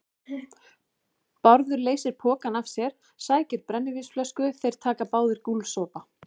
Bárður leysir pokann af sér, sækir brennivínsflösku, þeir taka báðir gúlsopa.